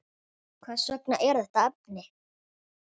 Hvers vegna þetta efni?